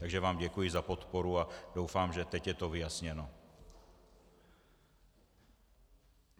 Takže vám děkuji za podporu a doufám, že teď je to vyjasněno.